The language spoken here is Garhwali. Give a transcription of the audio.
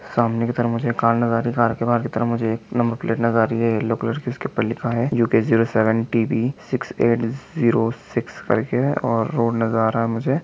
सामने की तरफ मुझे कार नजर आ रही है कार के बाहर की तरफ मुझे एक नंबर प्लेट नजर आ रही है येलो कलर की उसके ऊपर लिखा है U K zero seven T B six eight zero six करके और रोड नजर आ रहा है मुझे।